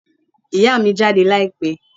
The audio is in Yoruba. Ìyá mi jáde láìpẹ́